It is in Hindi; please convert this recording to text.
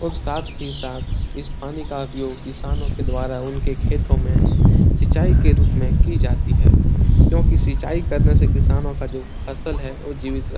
और साथ ही साथ इस पानी का उपयोग किसानों के द्वारा उनके खेतो में सिंचाई के रूप में की जाती है क्योंकि सिंचाई करने से किसानों का जो फसल है वो जीवित रह --